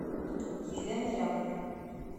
елена рябова